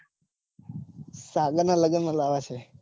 સાગર ના લગન માં લાવા છે.